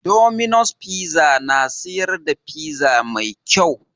Dominos fiza na siyar da fiza mai kau